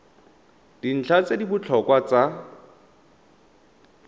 dintlha tse di botlhokwa tsa